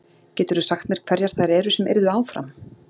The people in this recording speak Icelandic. Geturðu sagt mér hverjar þær eru sem yrðu áfram?